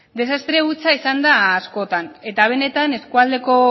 desastre hutsa izan da askotan eta benetan eskualdeko